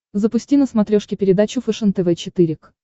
запусти на смотрешке передачу фэшен тв четыре к